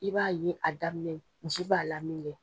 I b'a ye, a daminɛ misi b'a la min kɛ